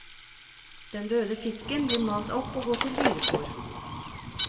Den døde fisken blir malt opp og går til dyrefôr.